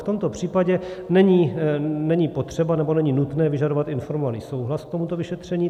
V tomto případě není potřeba, nebo není nutné vyžadovat informovaný souhlas k tomuto vyšetření.